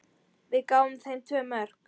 Við gáfum þeim tvö mörk.